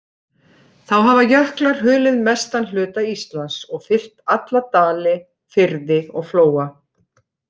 Þá hafa jöklar hulið mestan hluta Íslands, og fyllt alla dali, firði og flóa.